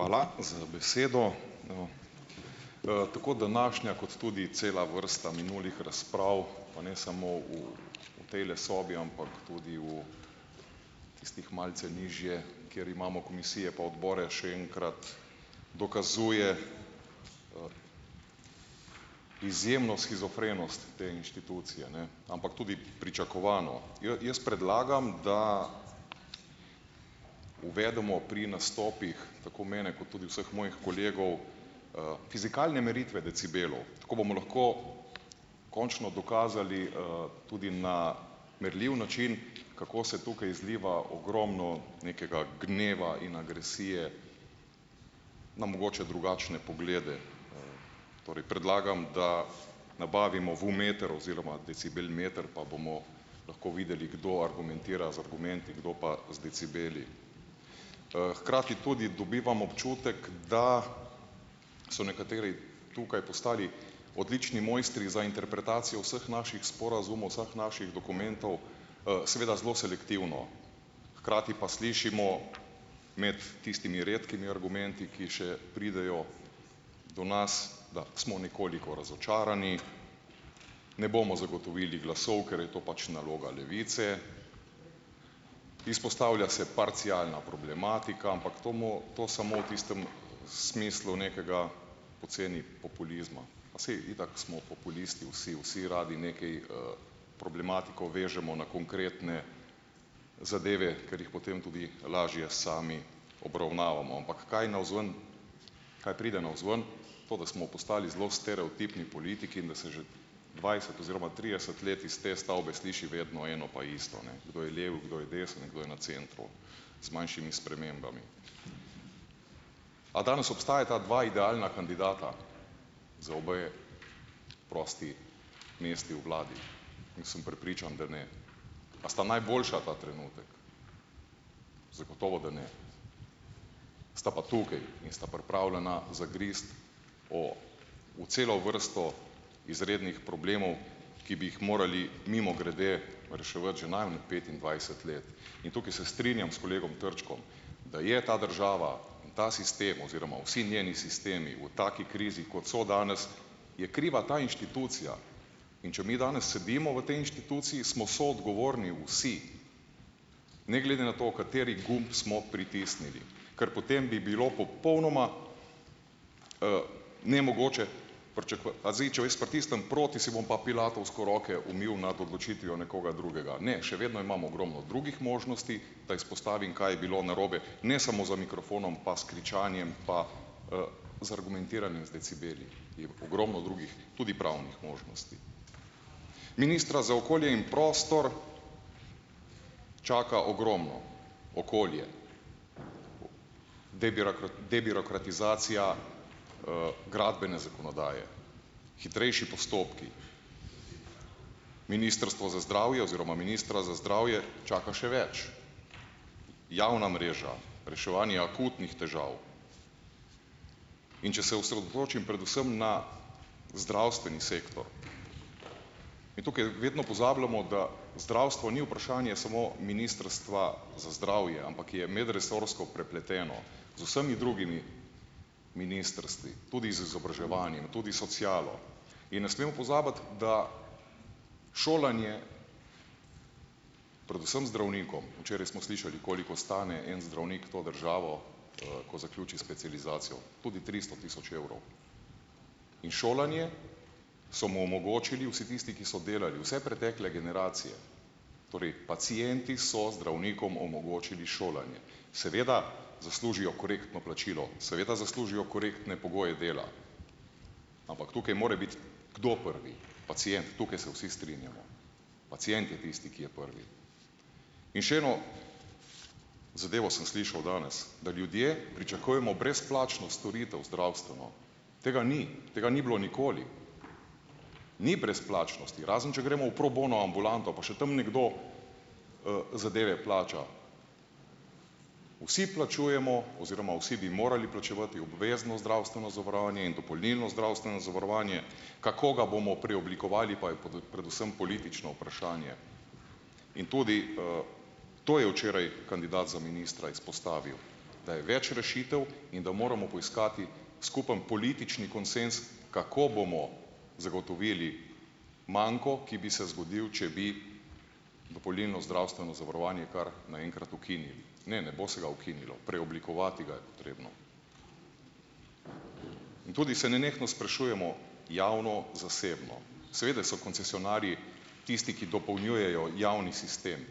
Hvala z besedo. tako današnja, kot tudi cela vrsta minulih razprav, pa ne samo v tejle sobi, ampak tudi v, tistih malce nižje, kjer imamo komisije pa odbore, še enkrat dokazuje izjemno shizofrenost te institucije, ne, ampak tudi pričakovano. jaz predlagam, da uvedemo pri nastopih, tako mene, kot tudi vseh mojih kolegov, fizikalne meritve decibelov. Tako bomo lahko končno dokazali, tudi na merljiv način, kako se tukaj zliva ogromno nekega gneva in agresije na mogoče drugačne poglede. Torej predlagam, da nabavimo VU-meter oziroma decibelmeter, pa bomo lahko videli kdo argumentira z argumenti, kdo pa z decibeli. hkrati tudi dobivam občutek, da so nekateri tukaj postali odlični mojstri za interpretacijo vseh naših sporazumov, vseh naših dokumentov, seveda zelo selektivno. Hkrati pa slišimo imeti tistimi redkimi argumenti, ki še pridejo do nas, da smo nekoliko razočarani, ne bomo zagotovili glasov, ker je to pač naloga Levice, izpostavlja se parcialna problematika, ampak to to samo v tistem smislu nekega poceni populizma, pa saj, itak smo populisti vsi, vsi radi nekaj, problematiko vežemo na konkretne zadeve, ker jih potem tudi lažje sami obravnavamo, ampak kaj navzven, kaj pride navzven? To da smo postali zelo stereotipni politiki in da se že dvajset oziroma trideset let iz te stavbe sliši vedno eno pa isto ne, kdo je lev in kdo je desen in kdo je na centru, z manjšimi spremembami. A danes obstajata dva idealna kandidata, za obe prosti mesti v vladi? Jaz sem prepričan, da ne. A sta najboljša ta trenutek? Zagotovo, da ne. Sta pa tukaj in sta pripravljena zagristi o, v celo vrsto izrednih problemov, ki bi jih morali, mimogrede, reševati že najmanj petindvajset let in tukaj se strinjam s kolegom Trčkom, da je ta država in ta sistem oziroma vsi njeni sistemi v taki krizi, kot so danes, je kriva ta inštitucija, in če mi danes sedimo v tej inštituciji, smo soodgovorni vsi. Ne glede na to, kateri gumb smo pritisnili. Ker potem bi bilo popolnoma, nemogoče a zdaj, če jaz pritisnem proti, si bom pa pilatovsko roke umil nad odločitvijo nekoga drugega? Ne, še vedno imam ogromno drugih možnosti, da izpostavim, kaj je bilo narobe, ne samo za mikrofonom pa s kričanjem, pa, z argumentiranjem, z decibeli, je ogromno drugih, tudi pravnih možnosti. Ministra za okolje in prostor čaka ogromno okolje. debirokratizacija, gradbene zakonodaje, hitrejši postopki, ministrstvo za zdravje oziroma ministra za zdravje čaka še več, javna mreža reševanje akutnih težav, in če se osredotočim predvsem na zdravstveni sektor, in tukaj vedno pozabljamo, da zdravstvo ni vprašanje samo Ministrstva za zdravje, ampak je medresorsko prepleteno z vsemi drugimi ministrstvi, tudi z tudi socialo. In ne smemo pozabiti, da šolanje, predvsem zdravnikom, včeraj smo slišali, koliko stane en zdravnik to državo, ko zaključi specializacijo, tudi tristo tisoč evrov. In šolanje so mu omogočili vsi tisti, ki so delali, vse pretekle generacije, torej pacienti so zdravnikom omogočili šolanje. Seveda zaslužijo korektno plačilo, seveda zaslužijo korektne pogoje dela, ampak tukaj mora biti, kdo prvi, pacient. Tukaj se vsi strinjamo. Pacient je tisti, ki je prvi. In še eno zadevo sem slišal danes, da ljudje pričakujemo brezplačno storitev, zdravstveno. Tega ni. Tega ni bilo nikoli. Ni brezplačnosti, razen če gremo v pro bono ambulanto, pa še tam nekdo, zadeve plača. Vsi plačujemo oziroma vsi bi morali plačevati obvezno zdravstveno zavarovanje in dopolnilno zdravstveno zavarovanje, kako ga bomo preoblikovali, pa je predvsem politično vprašanje in tudi, to je včeraj kandidat za ministra izpostavil, da je več rešitev in da moramo poiskati skupni politični konsenz, kako bomo zagotovili manko, ki bi se zgodil, če bi dopolnilno zdravstveno zavarovanje kar na enkrat ukinili. Ne, ne bo se ga ukinilo, preoblikovati ga je potrebno. In tudi se nenehno sprašujemo, javno - zasebno. Seveda so koncesionarji tisti, ki dopolnjujejo javni sistem